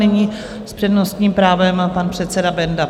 Nyní s přednostním právem pan předseda Benda.